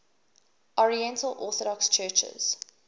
oriental orthodox churches